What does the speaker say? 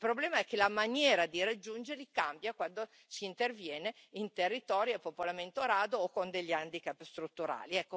Il problema è che la maniera di raggiungerli cambia quando si interviene in territori a popolamento rado o con degli handicap strutturali.